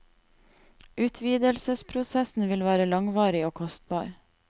Utvidelsesprosessen vil være langvarig og kostbar.